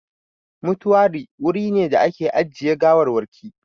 Mutuwari wuri ne da ake ajiye gawarwaki